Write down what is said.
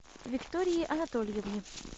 виктории анатольевне